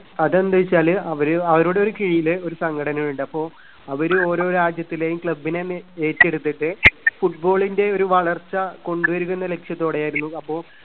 അതെന്താന്നുവെച്ചാല് അവര് അവരുടെ ഒരു കീഴില് ഒരു സംഘടനയുണ്ട്. അപ്പോ അവര് ഓരോ രാജ്യത്തിലെയും club നെ എല്ലാം ഏറ്റെടുത്തിട്ട്. football ന്റെ ഒരു വളർച്ച കൊണ്ടുവരിക എന്ന ലക്ഷ്യത്തോടെയായിരുന്നു. അപ്പോ